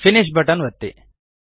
finish button ಒತ್ತಿ